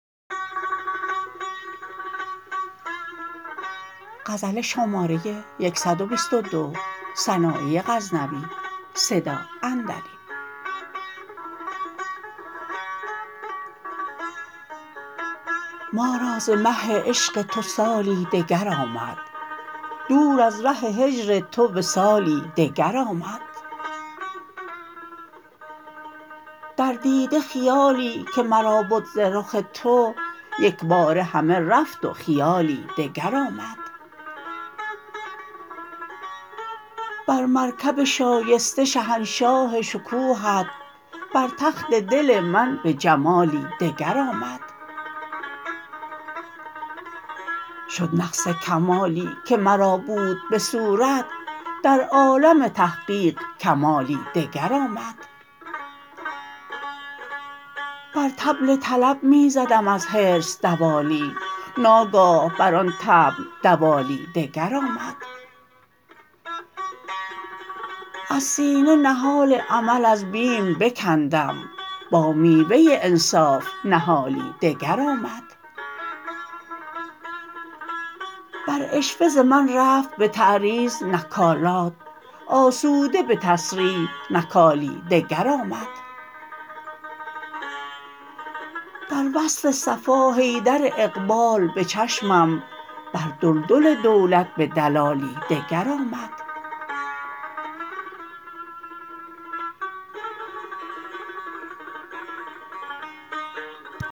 ما را ز مه عشق تو سالی دگر آمد دور از ره هجر تو وصالی دگر آمد در دیده خیالی که مرا بد ز رخ تو یکباره همه رفت و خیالی دگر آمد بر مرکب شایسته شهنشاه شکوهت بر تخت دل من به جمالی دگر آمد شد نقص کمالی که مرا بود به صورت در عالم تحقیق کمالی دگر آمد بر طبل طلب می زدم از حرص دوالی ناگاه بر آن طبل دوالی دگر آمد از سینه نهال امل از بیم بکندم با میوه انصاف نهالی دگر آمد بر عشوه ز من رفت به تعریض نکالات آسوده به تصریح نکالی دگر آمد در وصف صفا حیدر اقبال به چشمم بر دلدل دولت به دلالی دگر آمد